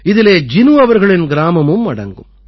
இதிலே ஜினு அவர்களின் கிராமமும் அடங்கும்